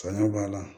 Saɲɔ b'a la